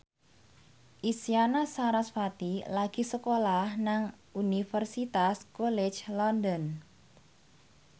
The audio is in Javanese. Isyana Sarasvati lagi sekolah nang Universitas College London